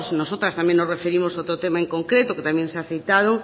también nos referimos a otro tema en concreto que también se ha citado